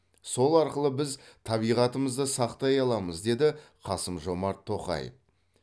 сол арқылы біз табиғатымызды сақтай аламыз деді қасым жомарт тоқаев